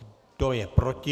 Kdo je proti?